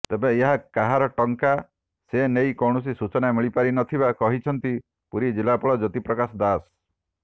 ତେବେ ଏହା କାହାର ଟଙ୍କା ସେ ନେଇ କୌଣସି ସୂଚନା ମିଳିପାରିନଥିବା କହିଛନ୍ତି ପୁରୀ ଜିଲ୍ଲାପାଳ ଜ୍ଯୋତିପ୍ରକାଶ ଦାଶ